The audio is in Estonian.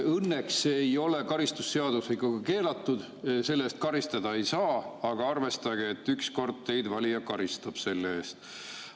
Õnneks see ei ole karistusseadustikuga keelatud, selle eest karistada ei saa, aga arvestage, et ükskord teid valija karistab selle eest.